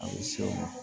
A bɛ se o ma